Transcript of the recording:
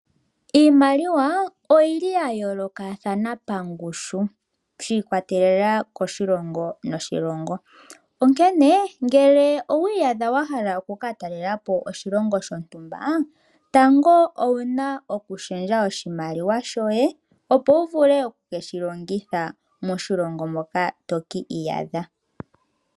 Iimaliwa oyayoolokathana pangushu shiikwatelela kiilongo, onkene ngele owi iyadha wa hala okutalela po oshilongo shontumba tango owuna okushendja oshimaliwa shoye opo wu vule okushilongitha moshilongo moka wuuka.